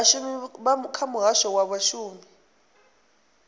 vhashumi kha muhasho wa vhashumi